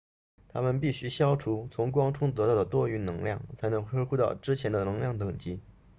它们必须消除从光中得到的多余能量才能恢复到之前的能量等级